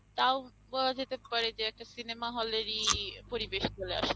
তাও বলা যেতে পারে যে একটা cinema hall এরই পরিবেশ চলে আসে।